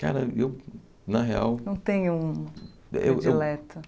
Cara, eu, na real... Não tem um... Eu eu Predileto.